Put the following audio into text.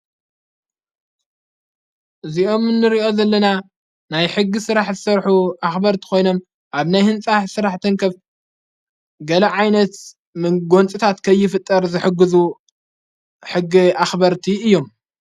እዚኦም ምንርእዮ ዘለና ናይ ሕጊ ሥራሕ ዝሠርኁ ኣኽበርቲ ኾይኖም ኣብ ናይ ሕንጻሕ ሥራሕ ተንከፍ ገለዓይነት ምጐንጽታት ከይፍጠር ዘሕግዙ ሕጊ ኣኽበርቲ እዩም።